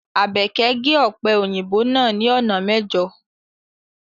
Abeke ge ọpe oyinbo naa ni ona mẹjo